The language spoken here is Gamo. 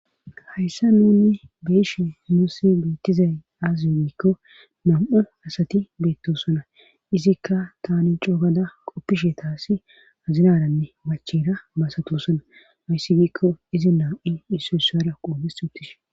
hayssa nuunni beishe muussi beettizay aazze giikko nam7u asati beettosona izikka tani coogada qoppishe taasi azinaranne machera basatusona hayssi giikko izi nam7i isso sara qoobe sutish